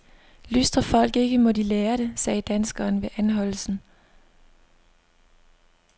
Lystrer folk ikke, må de lære det, sagde danskeren ved anholdelsen.